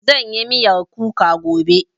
Zan yi miyar kuka gobe